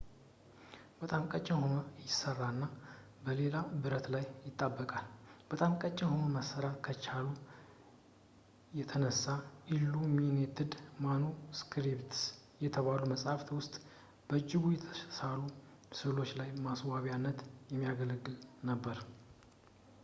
በጣም ቀጭን ሆኖ ይሰራና እና በሌላ ብረት ላይ ይጣበቃል በጣም ቀጭን ሆኖ መሰራት ከመቻሉ የተነሳ ኢሉሚኔትድ ማኑስክሪፕትስ በተባሉ መጻሕፍት ውስጥ በእጅ የተሳሉ ስዕሎች ላይ ለማስዋቢያነት የሚያገለግል ነበር